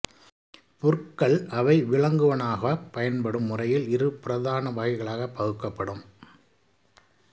புற்கள் அவை விலங்குணவாகப் பயன்படும் முறையில் இரு பிரதான வகைகளாகப் பகுக்கப்படும்